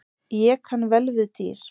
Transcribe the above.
Ég kann vel við dýr.